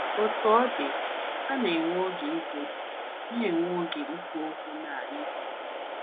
Otú ọ dị, ha na-enwe oge ikwu na-enwe oge ikwu okwu na anyị.